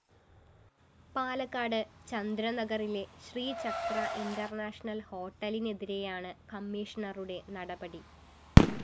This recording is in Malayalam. പാലക്കാട് ചന്ദ്രനഗറിലെ ശ്രീചക്ര ഇന്റർനാഷണൽ ഹോട്ടലിനെതിരെയാണ് കമ്മീഷണറുടെ നടപടി